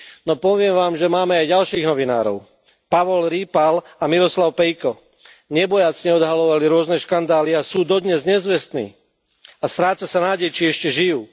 No poviem vám, že máme aj ďalších novinárov Pavol Rýpal a Miroslav Pejko nebojácne odhaľovali rôzne škandály a sú dodnes nezvestní a stráca sa nádej, či ešte žijú.